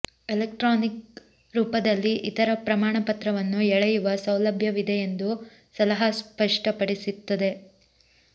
electronic ರೂಪದಲ್ಲಿ ಇತರ ಪ್ರಮಾಣಪತ್ರವನ್ನು ಎಳೆಯುವ ಸೌಲಭ್ಯವಿದೆ ಎಂದು ಸಲಹಾ ಸ್ಪಷ್ಟಪಡಿಸುತ್ತದೆ